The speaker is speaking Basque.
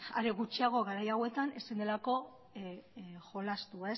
are gutxiago garai hauetan ezin delako jolastu